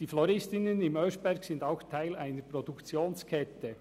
Die Floristinnen im Oeschberg sind auch Teil einer Produktionskette.